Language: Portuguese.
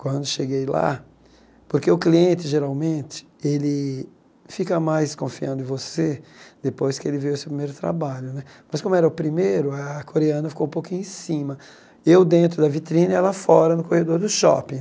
Quando cheguei lá, porque o cliente geralmente ele fica mais confiando em você depois que ele vê o seu primeiro trabalho né, mas como era o primeiro, a coreana ficou um pouquinho em cima, eu dentro da vitrine, ela fora no corredor do shopping.